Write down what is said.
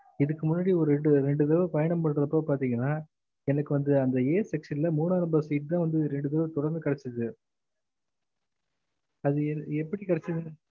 இதுக்கு முன்னாடி ஒரு ரெண்டு ரெண்டு தடவ பயணம் பொறக்க பாத்தேங்ன்னா எனக்கு வந்து அந்த a section ல மூணா number seat தா வந்து ரெண்டு தடவ தொடர்ந்து கெடச்சது அது எப்டி கெடச்சது